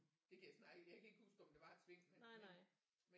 Det kan jeg snart ikke jeg kan ikke huske om der var et sving men